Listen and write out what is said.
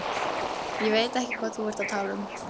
Ég veit ekki hvað þú ert að tala um.